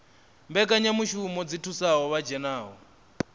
mbekanyamushumo dzi thusaho vha dzhenaho